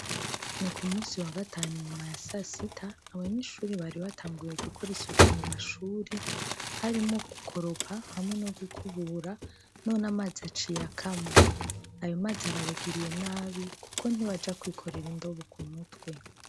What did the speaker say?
Ni ku munsi wa gatanu inyuma ya sasita, abanyeshure bari batanguye gukora isuku mu mashure, harimwo gukorapa no gukubura. none amazi aciye akama. Ayo mazi arabagiriye nabi kuko ntibaja kwikorera indobo k'umutwe.